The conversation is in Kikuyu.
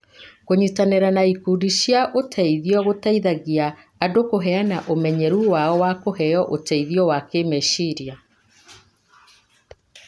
Kũnyitanĩra na ikundi cia ũteithio gũteithagia andũ kũheana ũmenyeru wao na kũheo ũteithio wa kĩĩmeciria.